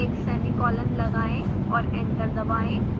एक सेमीकोलन लगाएं और एंटर दबाएं